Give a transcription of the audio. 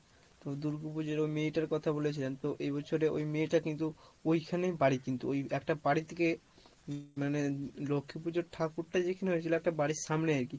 তো দুর্গু পুজোর ওই মেয়েটার কথা বলেছিলাম তো এ বছরে ওই মেয়েটা কিন্তু ওইখানেই বাড়ি কিন্তু একটা বাড়ি থেকে মানে লক্ষ্মী পূজোর ঠাকুর টা যেখানে হয়েছিলো একটা বাড়ির সামনে